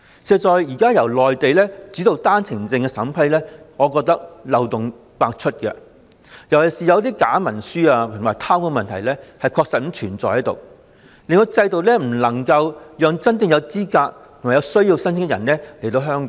事實上，現在由內地主導單程證的審批，我認為漏洞百出，尤其是假文書和貪污的問題確實存在，令制度未能讓真正有資格和有需要的申請人來港。